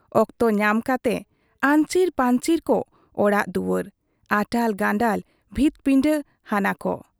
ᱚᱠᱛᱚ ᱧᱟᱢ ᱠᱟᱛᱮ ᱟᱹᱧᱪᱤᱨ ᱯᱟᱹᱧᱪᱤᱨ ᱠᱚ ᱚᱲᱟᱜ ᱫᱩᱣᱟᱹᱨ, ᱟᱴᱟᱞ ᱜᱟᱱᱰᱟᱞ ᱵᱷᱤᱛᱯᱤᱸᱰᱟᱹ ᱦᱟᱱᱟ ᱠᱚ ᱾